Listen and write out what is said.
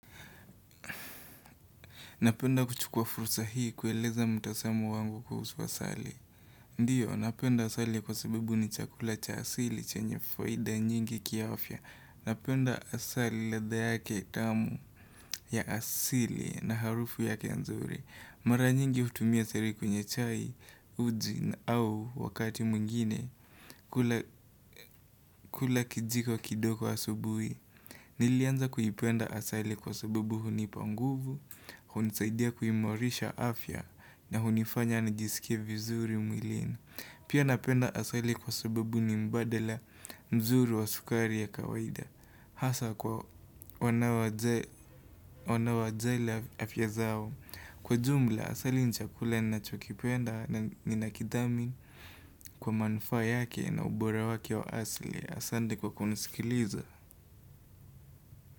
Napenda kuchukua fursa hii kueleza mtazamo wangu kuhusu asali. Ndiyo, napenda asali kwa sababu ni chakula cha asili chenye faida nyingi kiafya. Napenda asali ladha yake tamu, ya asili na harufu yake nzuri. Mara nyingi hutumia asari kwenye chai, uji au wakati mwengine kula kijiko kidogo asubuhi. Nilianza kuipenda asali kwa sababu hunipa nguvu. Hunisaidia kuimarisha afya na hunifanya nijisikie vizuri mwilina Pia napenda asali kwa sababu ni mbadala mzuri wa sukari ya kawaida Hasa kwa wanaojali afya zao Kwa jumla asali nibchakula ninachokipenda na ninakidhamin kwa manufaa yake na ubora wake wa asli Asande kwa kunisikiliza.